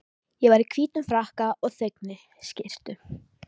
Ég var í hvítum frakka og þveginni skyrtu.